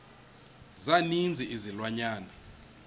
za ninzi izilwanyana